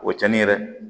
O tiɲɛni yɛrɛ